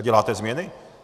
A děláte změny.